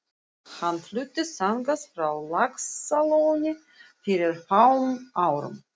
Hann fluttist þangað frá Laxalóni fyrir fáum árum.